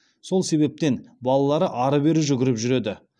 сол себептен балалары ары бері жүгіріп жүреді